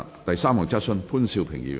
第三項質詢。